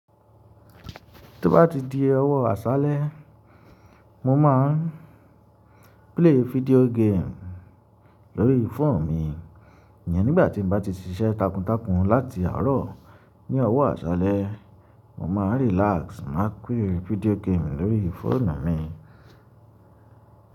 Tí ó bá ti di ọ̀wọ́ àṣálẹ́, mo máa ń play video game lórí fóònù mi. Nìyẹn nígbàtí mo bá ti ṣiṣẹ́ takuntakun láti àárọ̀. Ní ọ̀wọ́ àṣálẹ́, mo máa relax, mo máá play video game lórí fóònù mi.